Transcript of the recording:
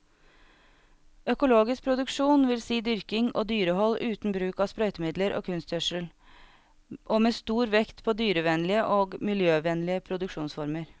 Økologisk produksjon vil si dyrking og dyrehold uten bruk av sprøytemidler og kunstgjødsel, og med stor vekt på dyrevennlige og miljøvennlige produksjonsformer.